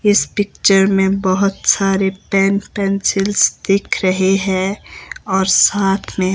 इस पिक्चर में बहुत सारे पेन पेंसिल्स दिख रहे है और साथ में--